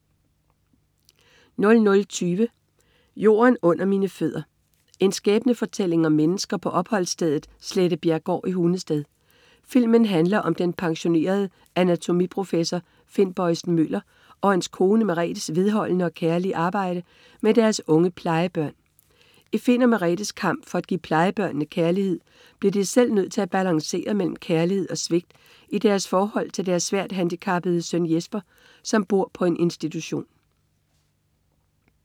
00.20 Jorden under mine fødder. En skæbnefortælling om mennesker på opholdsstedet Slettebjerggård i Hundested. Filmen handler om den pensionerede anatomiprofessor Finn Bojsen-Møller og hans kone Meretes vedholdende og kærlige arbejde med deres unge plejebørn. I Finn og Meretes kamp for at give plejebørnene kærlighed, bliver de selv nødt til at balancere imellem kærlighed og svigt i deres forhold til deres svært handicappede søn Jesper, som bor på en institution